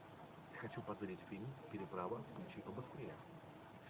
хочу посмотреть фильм переправа включи побыстрее